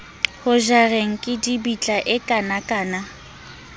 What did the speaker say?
ho jareng kidibitla e kanakana